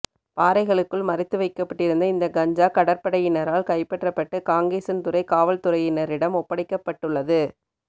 பாறைகளுக்குள் மறைத்து வைக்கப்பட்டிருந்த இந்த கஞ்சா கடற்படையினரால் கைப்பற்றப்பட்டு காங்கேசன்துறை காவல்துறையினரிடம் ஒப்படைக்கப்பட்டுள்ளது